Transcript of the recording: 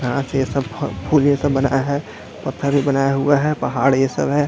घांस जैसा फ फूल बनाया है पत्थर भी बनाया हुआ है पहाड़ ये सब है।